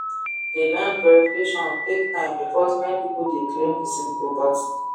the land verification take time because many people dey claim the same property